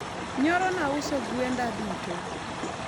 nyoro nauso gwenda duto